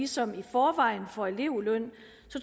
som i forvejen får elevløn